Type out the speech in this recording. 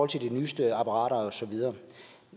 til de nyeste apparater og så videre